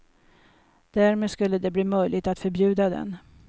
Därmed skulle det bli möjligt att förbjuda den.